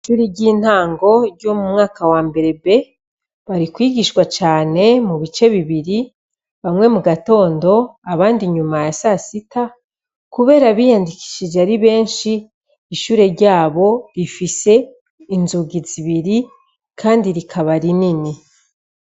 Ishure ry'intango ryo mu mwaka wa mbere B, bari kwigishwa cane mu bice bibiri, bamwe mu gatondo, abandi inyuma ya sasita. Kubera abiyandikishije ari besnhi, ishure ryabo rifise inzugi zibiri kandi rikaba rinini.